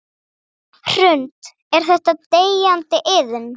Hrund: Er þetta deyjandi iðn?